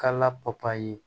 Ka la papaye